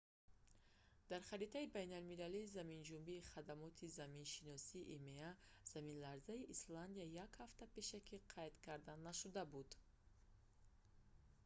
дар харитаи байналмилалии заминҷунбии хадамоти заминшиносии има заминларзаи исландия як ҳафта пешакӣ қайд карда нашуда буд